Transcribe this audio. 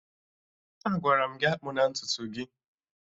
Agwara m gị akpụna ntutu gị!